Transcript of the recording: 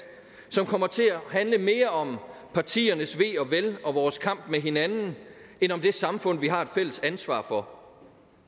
som kommer til at handle mere om partiernes ve og vel og vores kamp med hinanden end om det samfund vi har et fælles ansvar for